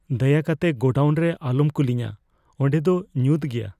ᱫᱟᱭᱟ ᱠᱟᱛᱮ ᱜᱳᱰᱟᱣᱩᱱ ᱨᱮ ᱟᱞᱚᱢ ᱠᱩᱞᱤᱧᱟ ᱾ ᱚᱸᱰᱮ ᱫᱚ ᱧᱩᱛ ᱜᱮᱭᱟ ᱾